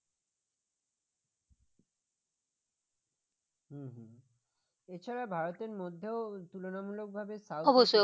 এছাড়াও ভারতের মধ্যেও তুলনামূলকভাবে